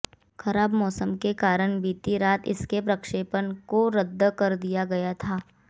खराब मौसम के कारण बीती रात इसके प्रक्षेपण को रद्द कर दिया गया था